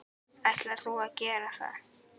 Ætlar þú að gera það?